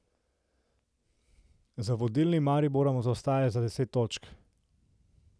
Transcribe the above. Za vodilnim Mariborom zaostaja za deset točk.